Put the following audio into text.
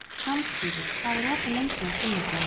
Hjálmfríður, hvað er opið lengi á sunnudaginn?